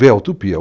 Vê a utopia.